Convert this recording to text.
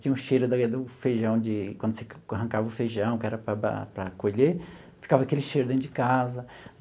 Tinha o cheiro do feijão, de quando você arrancava o feijão, que era para para colher, ficava aquele cheiro dentro de casa.